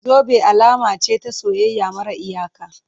Zube alama ce ta soyayya mara iyaka.